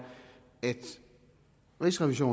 at rigsrevisor